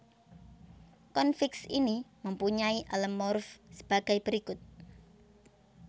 Konfiks ini mempunyai alomorf sebagai berikut